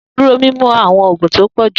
Duro mimu awọn oogun ti o pọ ju!